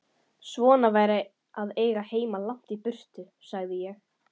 Svona væri að eiga heima langt í burtu, sagði ég.